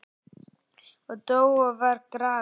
og dó og var grafinn